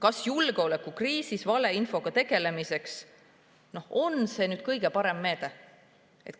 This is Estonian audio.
Kas julgeolekukriisis valeinfo on see kõige parem meede?